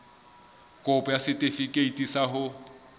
kopo ya setefikeiti sa ho